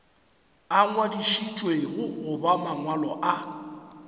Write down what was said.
a ngwadišitšwego goba mangwalo a